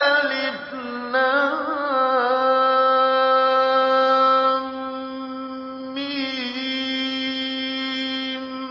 الم